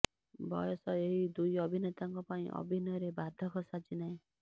ବୟସ ଏହି ଦୁଇ ଅଭିନେତାଙ୍କ ପାଇଁ ଅଭିନୟରେ ବାଧକ ସାଜି ନାହିଁ